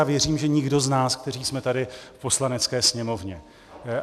A věřím, že nikdo z nás, kteří jsme tady v Poslanecké sněmovně.